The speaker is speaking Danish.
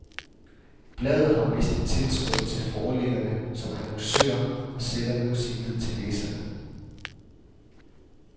Bladet har mistet tiltroen til forlæggerne som annoncører og sætter nu sin lid til læserne.